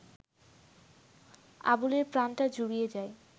আবুলের প্রাণটা জুড়িয়ে যায়